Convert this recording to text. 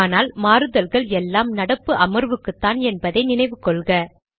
ஆனால் மாறுதல்கள் எல்லாமே நடப்பு அமர்வுக்குத்தான் என்பதை நினைவு கொள்க